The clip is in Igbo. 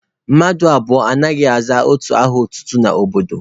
Mmadụ abụọ anaghị aza otu aha otutu n'obodo.